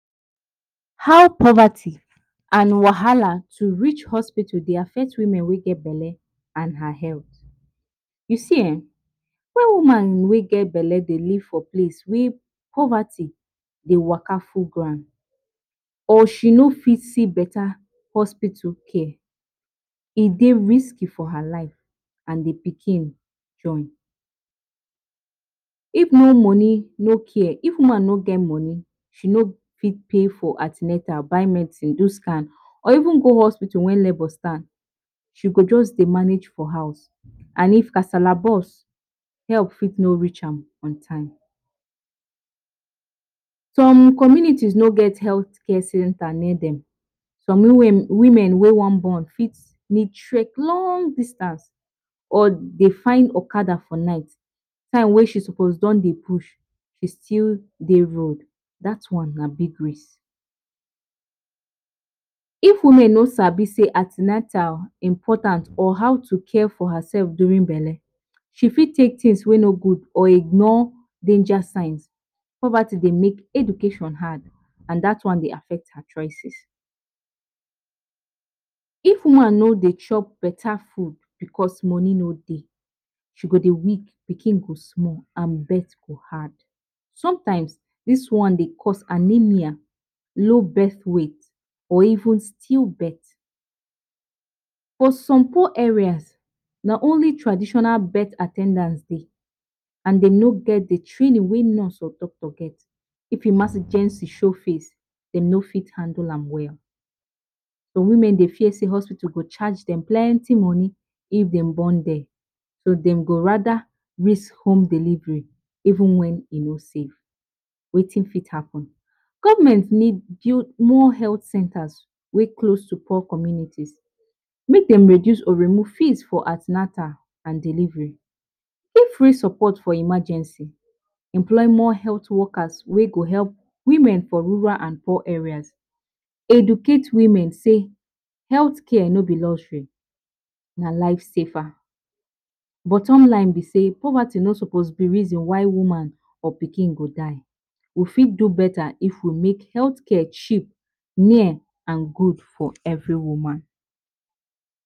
How poverty and wahala to reach hospital Dey affect women wey get belle and her health, u see[um]wen woman wey get belle Dey leave for place wey poverty Dey Waka full ground or she. No fit see beta hospital care, e Dey risky for her life and d pikin join, if no money no care, if woman no get money she no go for pay for an ten atal, but medicine do scan or even go hospital wen labor start, she go just Dey manage for house and if kasala burst help for no reach am in time, some communities no get health care centers near, some women wey wan born fit trek long distance or eh find okada for night, time wey she supposed don Dey push she still Dey road, dat one na big risk, if women no sabi say an ten atal important or how to care for her self during belle, she fit take things wey no good or ignore danger signs, poverty Dey make education hard and dat one Dey affect her choices. If woman no Dey chop beta food cause money no Dey, she go Dey weak, pikin go small and birth go hard, sometimes dis one dey cause anaemia, low both weight or even still birth. For some poor areas na only traditional birth at ten dants dey, and dem no get d training wey nurse or doctor get, if emergency show face dem no fit handle am well, some women dey fear sey hospitals go charge dem plenty money if dem born there, so dem go rather risk home delivery even wen e no safe, Wetin fit happen, government need build more health centers wey close to poor communities, make dem reduce or remove fees for an ten atal and delivery, if free support for emergency, employ more health workers wey go help women for rural and poor areas, educate women sey healthcare no be luxury, na life saver, bottom line b sey poverty no suppose b reason why woman or pikin go die, we got do beta if we make health care cheap near and good for every woman.